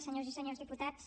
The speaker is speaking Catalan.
senyores i senyors diputats